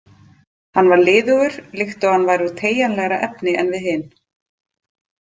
Hann var liðugur, líkt og hann væri úr teygjanlegra efni en við hin.